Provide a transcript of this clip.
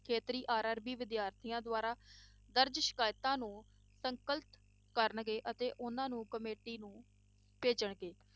ਖੇਤਰੀ RRB ਵਿਦਿਆਰਥੀਆਂ ਦੁਆਰਾ ਦਰਜ਼ ਸ਼ਿਕਾਇਤਾਂ ਨੂੰ ਸੰਕਲਿਤ ਕਰਨਗੇ ਅਤੇ ਉਹਨਾਂ ਨੂੰ committee ਨੂੰ ਭੇਜਣਗੇ।